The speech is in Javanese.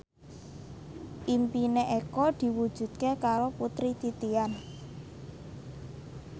impine Eko diwujudke karo Putri Titian